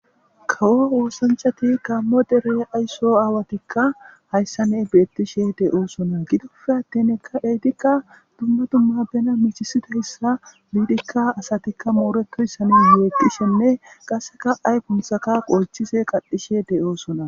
Kawo woosanchati kaammo dere ayso aawatikka hayssanne beettishe de'o sona gidofe atten ekka eetikka dumma dumma bena michisidahissa biidikka asatikka mooretohyssane meeqishenne qaseka ay quntsaka qolchise qadhishe de'oo sona.